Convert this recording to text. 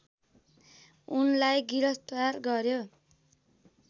उनलाई गिरफ्तार गर्‍यो